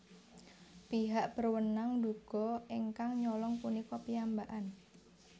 Pihak berwenang nduga ingkang nyolong punika piyambakan